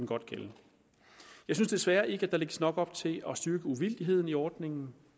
godt gælde jeg synes desværre ikke at der lægges nok op til at styrke uvildigheden i ordningen